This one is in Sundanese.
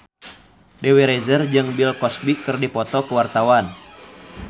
Dewi Rezer jeung Bill Cosby keur dipoto ku wartawan